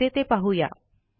कसे ते पाहू या